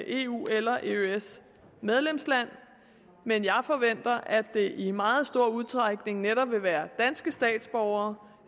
eu eller eøs land men jeg forventer at det i meget stor udstrækning netop vil være danske statsborgere